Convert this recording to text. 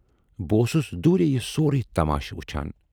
بہٕ اوسُس دوٗرے یہِ سورُے تماشہٕ وُچھان۔